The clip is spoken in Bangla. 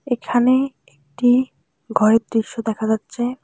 এখানে একটি ঘরের দৃশ্য দেখা যাচ্ছে।